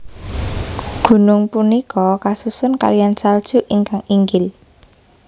Gunung punika kasusun kaliyan salju ingkang inggil